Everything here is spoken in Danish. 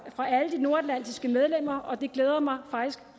fra alle de nordatlantiske medlemmer og det glæder mig faktisk